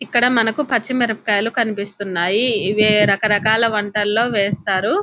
ఇక్కడ మనకు పచ్చిమిరపకాయలు కనిపిస్తున్నాయి. ఇవే రకరకాల వంటల్లో వేస్తారు.